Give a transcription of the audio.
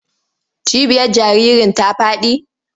Cibiyar jaririn ta faɗi?